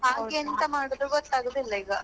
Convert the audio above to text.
ಹಾಗೆ ಎಂತ ಮಾಡದು ಗೊತ್ತಾಗುವದಿಲ್ಲ ಈಗ?